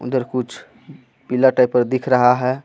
अंदर कुछ पीला टाइप का दिख रहा हे.